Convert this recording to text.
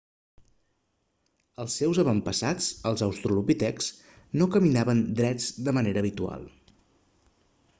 els seus avantpassats els australopitecs no caminaven drets de manera habitual